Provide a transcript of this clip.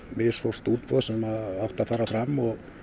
misfórst útboð sem átti að fara fram